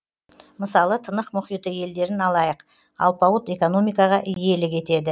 мысалы тынық мұхиты елдерін алайық алпауыт экономикаға иелік етеді